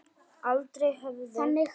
Aldrei höfðu